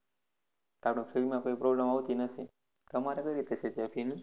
તેથી fee માં કોઈ problem આવતી નથી તમારે કઈ રીતે છે ત્યાં fee નું